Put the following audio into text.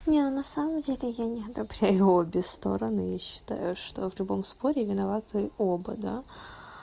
нет на самом деле я не одобряю обе стороны я считаю что в любом споре виноваты оба да